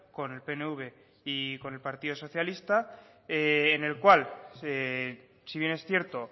con el pnv y con el partido socialista en el cual si bien es cierto